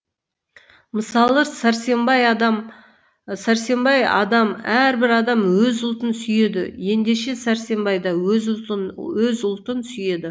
мысалы сәрсембай адам әрбір адам өз ұлтын сүйеді ендеше сәрсембай да өз ұлтын сүйеді